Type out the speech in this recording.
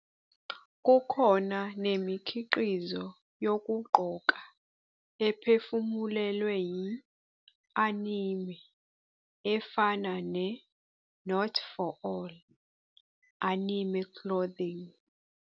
Kukhona nemikhiqizo yokugqoka ephefumulelwe yi-anime efana ne-Not For All- Anime Clothing.